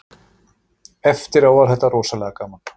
Eftirá var þetta rosalega gaman